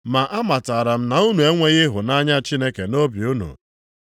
Ma amatara m na unu enweghị ịhụnanya Chineke nʼobi unu.